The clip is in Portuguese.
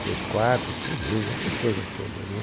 três quartos, cozinha, essas coisas todas né